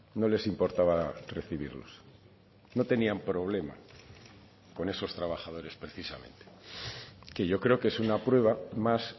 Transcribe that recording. no les importaba recibirlos no tenían problema con esos trabajadores precisamente que yo creo que es una prueba más